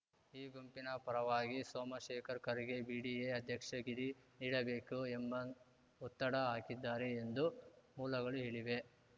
ಈ ಗುಂಪಿನ ಪರವಾಗಿ ಸೋಮಶೇಖರ್‌ ಖರ್ಗೆ ಬಿಡಿಎ ಅಧ್ಯಕ್ಷಗಿರಿ ನೀಡಬೇಕು ಎಂಬ ಒತ್ತಡ ಹಾಕಿದ್ದಾರೆ ಎಂದು ಮೂಲಗಳು ಹೇಳಿವೆ